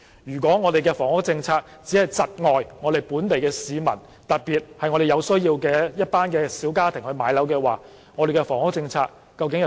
若房屋政策只是窒礙本地市民，特別是一群有此需要的小家庭置業，那房屋政策究竟所為何事呢？